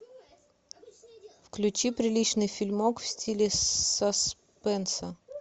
включи приличный фильмок в стиле саспенс